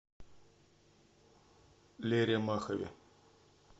лере махове